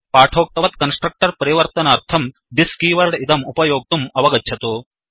पाटोक्तवत् constructor परिवर्तनार्थं this keyword इदं उपयोक्तुम् अवगच्छतु